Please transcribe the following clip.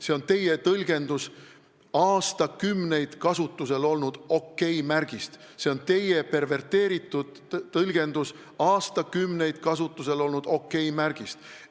See on teie tõlgendus aastakümneid kasutusel olnud OK-märgist, see on teie perverteeritud tõlgendus aastakümneid kasutusel olnud OK-märgist.